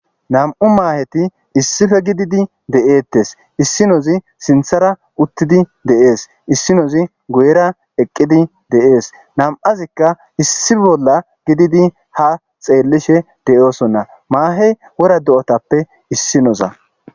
Nam'u maaheti issife gididi de7eettes issinozi sinthara uttidi de7ees issinozi guyera eqqidi de7ees nam7azikka issi bolla gididi ha xeellishe de7oosonna maahey wora do7otappe issinoza.